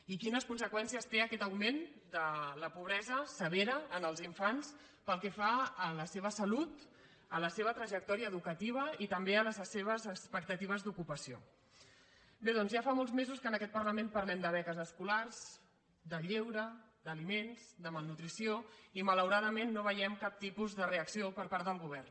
i quines conseqüències té aquest augment de la pobre·sa severa en els infants pel que fa a la seva salut a la seva trajectòria educativa i també a les seves expecta·tives d’ocupació bé doncs ja fa molts mesos que en aquest parlament parlem de beques escolars de lleure d’aliments de malnutrició i malauradament no ve·iem cap tipus de reacció per part del govern